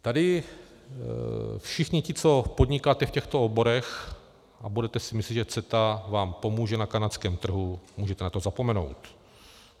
Tady všichni ti, co podnikáte v těchto oborech a budete si myslet, že CETA vám pomůže na kanadském trhu, můžete na to zapomenout.